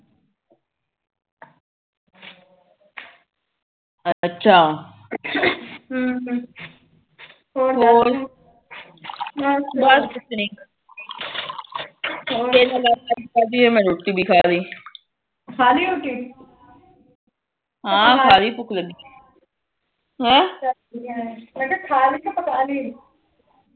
ਮੈ ਕਿਹਾ ਖਾਲੀ ਕ ਪਕਾਲੀ